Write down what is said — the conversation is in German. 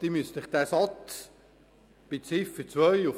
Sie müssen sich den Satz auf der Zunge zergehen lassen.